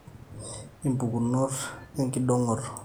impukunot enkidongoto